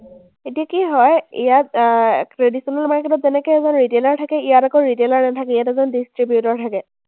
এতিয়া কি হয়, ইয়াত আহ traditional market ত যেনেকে ইমান retailer থাকে, ইয়াত আকৌ retailer নাথাকে, ইয়াত এজন distributor থাকে।